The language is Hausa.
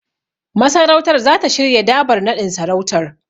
Masarautar zata shirya Dabar naɗin sarautar.